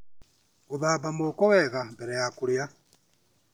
Gũthamba moko wega mbere ya kũrĩa.